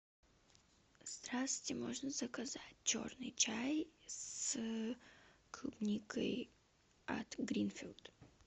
здравствуйте можно заказать черный чай с клубникой от гринфилд